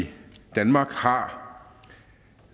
danmark har